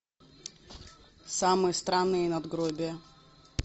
самые странные надгробия